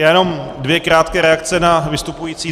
Já jenom dvě krátké reakce na vystupující.